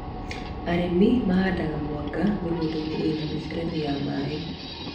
Arĩmi mahandaga mwanga mĩgũnda-inĩ ĩna mĩberethi ya maĩ